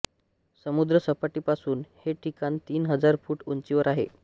समुद्रसपाटीपासून हे ठिकाण तीन हजार फूट उंचीवर आहे